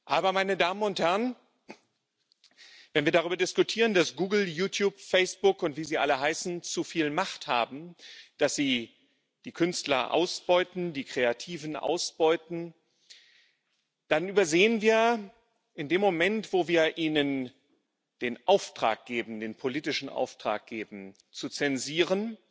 Aber, meine Damen und Herren, wenn wir darüber diskutieren, dass Google, YouTube, Facebook und wie sie alle heißen zu viel Macht haben, dass sie die Künstler ausbeuten, die Kreativen ausbeuten, dann übersehen wir in dem Moment, wo wir ihnen den politischen Auftrag geben, zu zensieren,